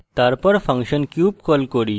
তারপর function cube call cube